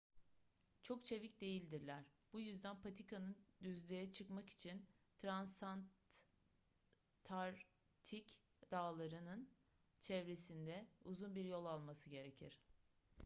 çok çevik değildirler bu yüzden patikanın düzlüğe çıkmak için transantarktik dağları'nın çevresinde uzun bir yol alması gerekir